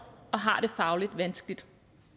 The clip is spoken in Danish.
og har det fagligt vanskeligt